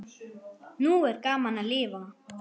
Nú er gaman að lifa!